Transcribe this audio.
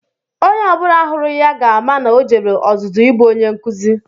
Onye ọ bụla hụrụ ya ga-ama na o jere ọzụzụ ịbụ Onye nkụzi